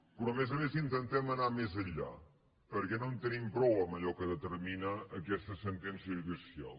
però a més a més intentem anar més enllà perquè no en tenim prou amb allò que determina aquesta sen·tència judicial